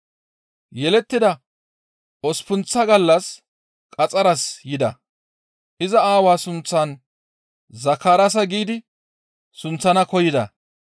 Yelettida osppunththa gallas qaxxaras yida. Iza aawaa sunththan Zakaraasa giidi sunththana koyida.